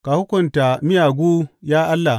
Ka hukunta miyagu, ya Allah.